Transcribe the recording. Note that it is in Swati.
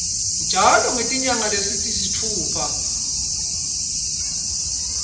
njalo ngetinyanga letisitfupha